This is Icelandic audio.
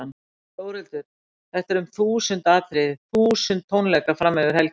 Þórhildur: Þetta er um þúsund atriði, þúsund tónleikar fram yfir helgi?